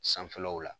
Sanfɛlaw la